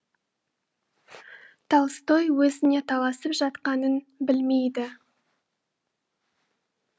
толстой өзіне таласып жатқанын білмейді